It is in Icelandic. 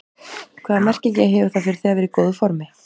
Hvaða merkingu hefur það fyrir þig að vera í góðu formi?